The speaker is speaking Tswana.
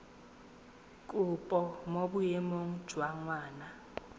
kopo mo boemong jwa ngwana